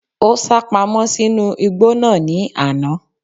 Ó sápamọ́ sínú igbó náà ní àná